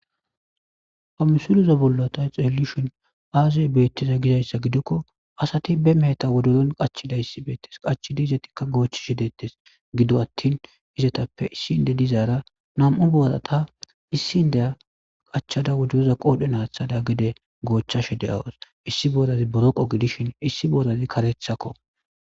Pamusulizo bollota xeelishin aaziye beettiza gidayssa gidokko asati be meheta wodozon qachida issi beettes qachidi izetikka goochi shi deettes gido attin izetappe issi inde dizaara nam7u bodata issi ndeya qachchada wodozoza qoodhe naathada gide goochchashe de awos issi bodazi boroqo gidishin issi bodazi karethakko.